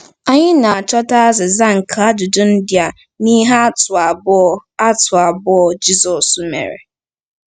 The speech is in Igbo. Anyị na-achọta azịza nke ajụjụ ndị a n’ihe atụ abụọ atụ abụọ Jizọs mere.